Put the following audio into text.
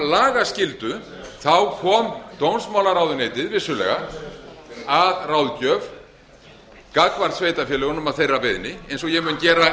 lagaskyldu kom dómsmálaráðuneytið vissulega að ráðgjöf gagnvart sveitarfélögunum að þeirra beiðni eins og ég mun gera